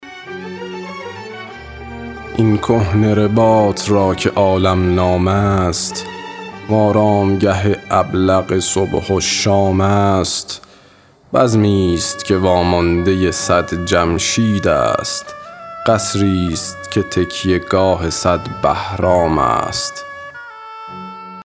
این کهنه رباط را که عالم نام است و آرامگه ابلق صبح و شام است بزمی ست که واماندۀ صد جمشید است قصری ست که تکیه گاه صد بهرام است